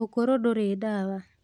ũkũrũ ndũrĩ ndawa